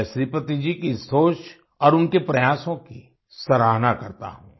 मैं श्रीपति जी की इस सोच और उनके प्रयासों की सराहना करता हूँ